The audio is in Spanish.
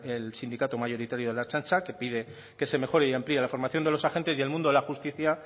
el sindicato mayoritario de la ertzaintza que pide que se mejore y amplíe la formación de los agentes y el mundo de la justicia